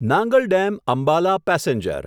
Nangal dam Ambala passenger